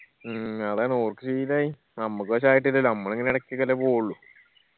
മ്മ് അതാണ് ഓർക്ക് ശീലമായി നമ്മക്ക് പക്ഷെ ആയിട്ടില്ലല്ല നമ്മൾ ഇങ്ങനെ ഇടക്കെ ഒക്കെല്ലേ പോവുള്ളു